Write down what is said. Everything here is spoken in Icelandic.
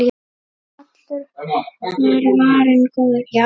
Allur var varinn góður.